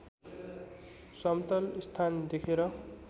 समतल स्थान देखेर